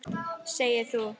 Segir þú.